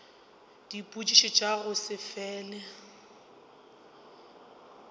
dipotšišo tša go se fele